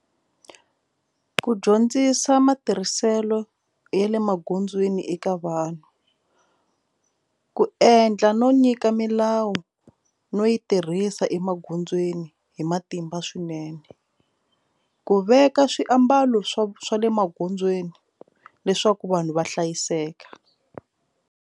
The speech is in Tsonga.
Ku dyondzisa matirhiselo ya le magondzweni eka vanhu ku endla no nyika milawu no yi tirhisa emagondzweni hi matimba swinene ku veka swiambalo swa swa le magondzweni leswaku vanhu va hlayiseka.